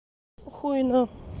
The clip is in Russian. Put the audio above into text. хуй на